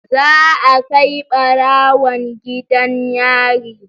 Zaa kai barawon gidan yari.